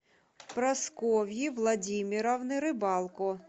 прасковьи владимировны рыбалко